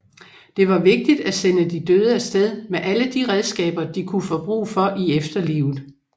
Det var vigtigt at sende de døde afsted med alle de redskaber de kunne få brug for i etferlivet